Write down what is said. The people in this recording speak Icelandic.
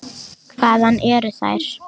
Hvaðan eru þær.